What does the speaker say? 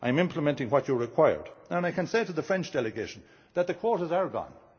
I am implementing what you required, and I can say to the French delegation that the quotas are